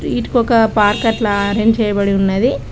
వీటికి ఒక పార్క్ అట్లా అరేంజ్ చేయబడి ఉన్నది.